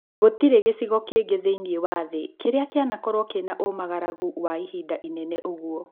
Gũtirĩ gĩcigo kĩngĩ thĩiniĩ wa thĩ kĩrĩa kĩanakorwo kĩna ũmagaragu wa ihinda inene ũguo.